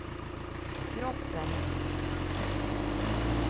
kroppen